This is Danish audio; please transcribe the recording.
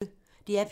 DR P1